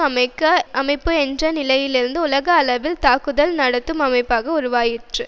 அமைப்பு என்ற நிலையிலிருந்து உலக அளவில் தாக்குதல் நடத்தும் அமைப்பாக உருவாயிற்று